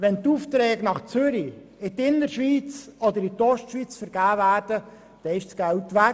Wenn die Aufträge nach Zürich, in die Innerschweiz oder die Ostschweiz vergeben werden, ist das Geld weg.